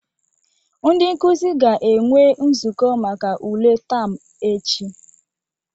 Ndị nkuzi ga-enwe nzukọ maka ule taam ech.